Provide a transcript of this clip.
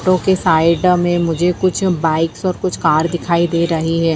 Auto के side मे मुझे कुछ बाइक्स ओर कुछ कार दिखाई दे रही हैं ।